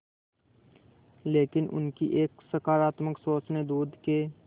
लेकिन उनकी एक सकरात्मक सोच ने दूध के